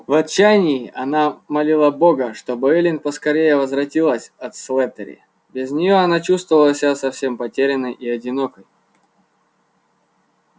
в отчаянии она молила бога чтобы эллин поскорее возвратилась от слэттери без неё она чувствовала себя совсем потерянной и одинокой